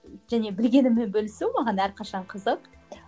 және білгеніммен бөлісу маған әрқашан қызық